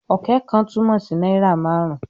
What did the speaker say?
"Ọ̀kẹ́ kan" túmọ̀ sí náírà márùn-ún